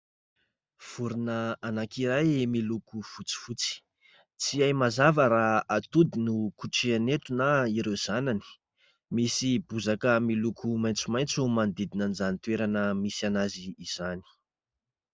Vorona anankiray miloko fotsifotsy. Tsy hay mazava raha atody no kotrehiny eto na ireo zanany. Misy bozaka miloko maitsomaitso ny manodidina an'izany toerana misy azy izany.